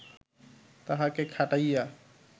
তাহাকে খাটাইয়া